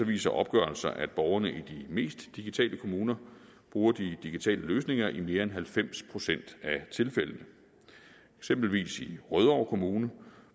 viser opgørelser at borgerne i de mest digitale kommuner bruger de digitale løsninger i mere end halvfems procent af tilfældene eksempelvis i rødovre kommune